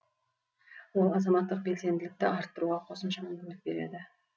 ол азаматтық белсенділікті арттыруға қосымша мүмкіндік береді